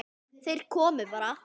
Þeir komu bara.